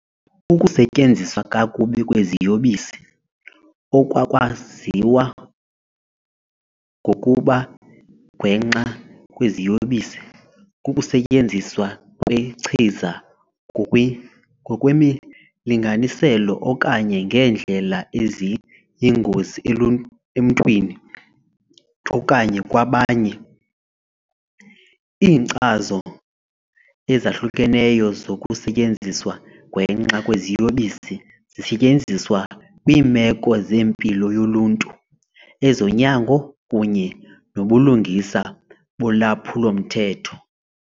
Ukusetyenziswa kakubi kweziyobisi, okwakwaziwa ngokuba gwenxa kweziyobisi, kukusetyenziswa kwechiza ngokwemilinganiselo okanye ngeendlela eziyingozi emntwini okanye kwabanye. Iinkcazo ezahlukeneyo zokusetyenziswa gwenxa kweziyobisi zisetyenziswa kwiimeko zempilo yoluntu, ezonyango, kunye nobulungisa bolwaphulo-mthetho.